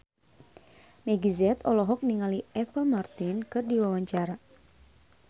Meggie Z olohok ningali Apple Martin keur diwawancara